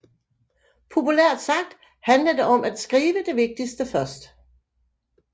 Populært sagt handler det om at skrive det vigtigste først